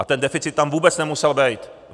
A ten deficit tam vůbec nemusel být.